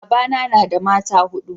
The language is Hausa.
babana na da mata hudu